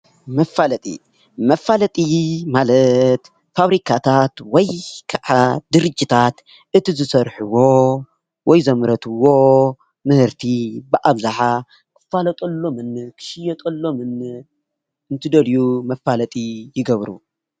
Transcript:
መፋለጢ መፋለጢ ማለት ፋብሪካታት ወይከዓ ድርጅታት እቲ ዝሰርሕዎ ወይ ዘምረትዎ ምህርቲ ብኣብዝሓ ክፋለጠሎምን ክሽየጠሎምን እንትደልዩ መፋለጢ ይገብሩ።